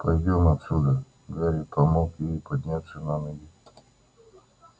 пойдём отсюда гарри помог ей подняться на ноги